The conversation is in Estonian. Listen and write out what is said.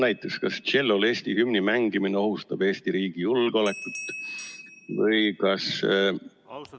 Näiteks, kas tšellol Eesti hümni mängimine ohustab Eesti riigi julgeolekut?